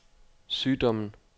sygdommen